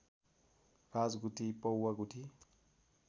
राजगुठी पौवा गुठी